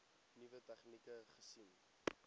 nuwe tegnieke gesien